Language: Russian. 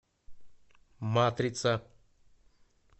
матрица